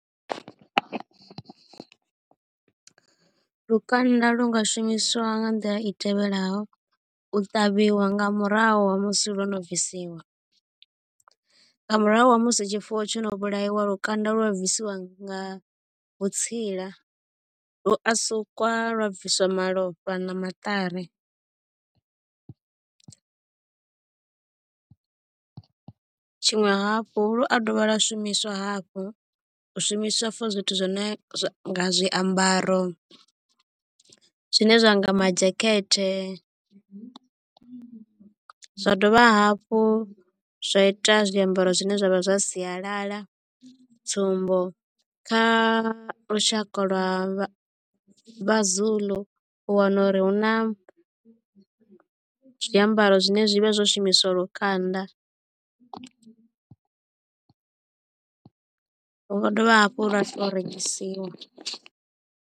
Lukanda lu nga shumiswa nga nḓila i tevhelaho u ṱavhiwa nga murahu ha musi lwo no bvisiwa nga murahu ha musi tshifuwo tsho no vhulaiwa lukanda lu a bvisiwa nga vhutsila lu a sukwa lwa bviswa malofha na maṱari. Tshiṅwe hafhu lu a dovha lwa shumiswa hafhu u shumiswa for zwithu zwi ne zwa zwiambaro zwine zwa nga ma dzhakete zwa dovha hafhu zwa ita zwiambaro zwine zwa vha zwa sialala tsumbo kha lushaka lwa vhazulu u wana uri hu na zwiambaro zwine zwi vha zwo shumiswa lukanda hu nga dovha hafhu lwa to rengisiwa.